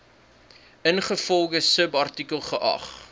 ingevolge subartikel geag